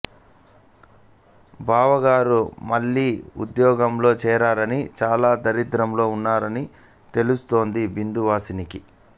బావగారు మళ్ళీ వుద్యోగంలో చేరారని చాలా దారిద్ర్యంలో వున్నరని తెలుస్తుంది బిందువాసినికి